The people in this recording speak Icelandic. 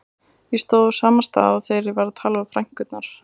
Ég stóð á sama stað og þegar ég var að tala við frænkurnar.